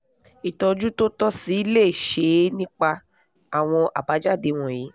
ìtọ́jú tó tọ́ sì leé ṣeé nípa àwọn àbájáde wọ̀nyí